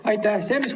Aitäh!